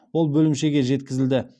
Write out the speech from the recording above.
ол бөлімшеге жеткізілді